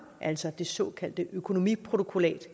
altså det såkaldte økonomiprotokollat